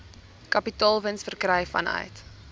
kapitaalwins verkry vanuit